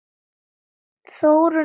Þórunn Edda.